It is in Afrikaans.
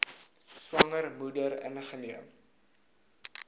swanger moeder ingeneem